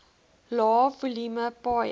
lae volume paaie